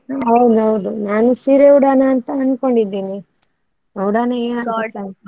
ಹೌದೌದು ನಾನು ಸೀರೆ ಉಡೋಣ ಅಂತ ಅಂನ್ಕೊಂಡಿದೇನೆ. ನೋಡೋಣ ಯಾರು ಸಿಕ್ತಾರೆ ಅಂತ.